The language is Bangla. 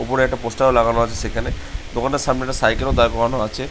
উপরে একটা পোস্টার ও লাগানো আছে সেখানে দোকান টার সামনে একটা সাইকেল ও দাঁড় করানো আছে।